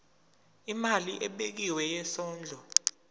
imali ebekiwe yesondlo